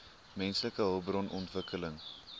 menslike hulpbron ontwikkeling